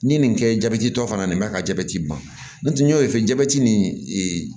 N'i ye nin kɛ jatitɔ fana nin ka jabɛti ban n'o tɛ n y'o fɛn nin